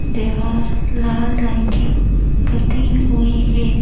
दीवार लाल रंग की पुती हुई है।